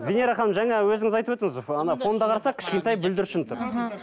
венера ханым жаңа өзіңіз айтып өттіңіз қолында қарасақ кішкентай бүлдіршін тұр мхм